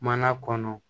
Mana kɔnɔ